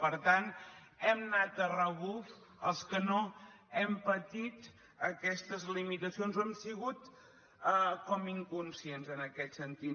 per tant hem anat a rebuf els que no hem patit aquestes limitacions hem sigut com inconscients en aquest sentit